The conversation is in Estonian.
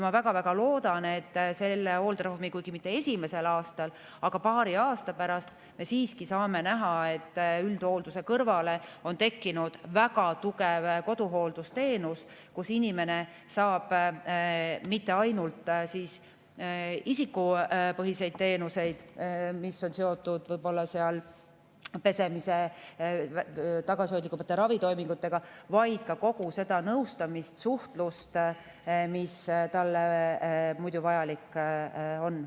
Ma väga-väga loodan, et kuigi mitte selle hooldereformi esimesel aastal, aga paari aasta pärast me siiski saame näha, et üldhoolduse kõrvale on tekkinud väga tugev koduhooldusteenus, mille abil inimene saab mitte ainult isikupõhiseid teenuseid, mis on seotud pesemise ja tagasihoidlikumate ravitoimingutega, vaid kogu seda nõustamist, suhtlust, mis talle vajalik on.